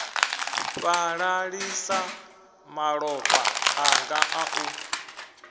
fhalalisa malofha anga a u